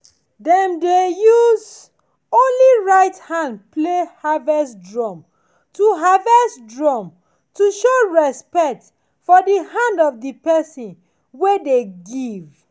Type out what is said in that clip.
dem dey use only right hand play harvest drum to harvest drum to show respect for the hand of the person wey dey give.